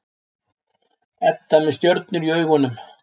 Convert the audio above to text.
Edda með stjörnur í augunum.